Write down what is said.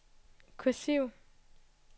kursiv